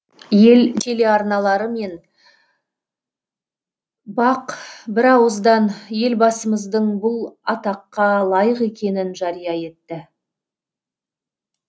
ел телеарналары мен бақ бірауыздан елбасымыздың бұл атаққа лайық екенін жария етті